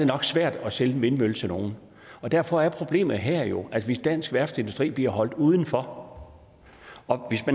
nok svært at sælge en vindmølle til nogen derfor er problemet her jo at hvis dansk værftsindustri bliver holdt udenfor og